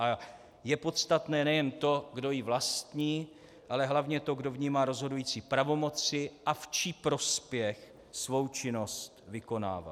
A je podstatné nejen to, kdo ji vlastní, ale hlavně to, kdo v ním má rozhodující pravomoci a v čí prospěch svou činnost vykonává.